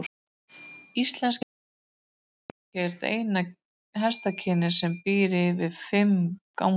Íslenski hesturinn er ekki eina hestakynið sem býr yfir fimm gangtegundum.